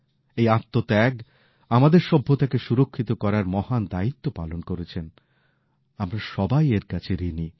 এই আত্মত্যাগ আমাদের সভ্যতা কে সুরক্ষিত রাখার মহান দায়িত্ব পালন করেছেন আমরা সবাই এর কাছে ঋণী